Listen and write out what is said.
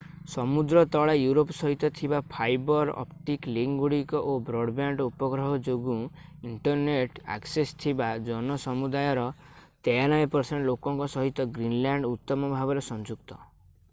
ସମୁଦ୍ର ତଳେ ୟୁରୋପ ସହିତ ଥିବା ଫାଇବର୍ ଅପ୍ଟିକ୍ ଲିଙ୍କଗୁଡ଼ିକ ଓ ବ୍ରଡବ୍ୟାଣ୍ଡ ଉପଗ୍ରହ ଯୋଗୁଁ ଇଣ୍ଟରନେଟ୍ ଆକ୍ସେସ୍ ଥିବା ଜନସମୁଦାୟର 93% ଲୋକଙ୍କ ସହିତ ଗ୍ରୀନଲ୍ୟାଣ୍ଡ ଉତ୍ତମ ଭାବରେ ସଂଯୁକ୍ତ